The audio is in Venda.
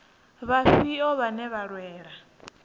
vhafhio vhane vha nga lwela